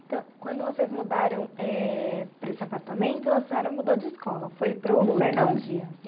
Então, quando vocês mudaram eh para esse apartamento, a senhora mudou de escola, foi para o Fernão Dias.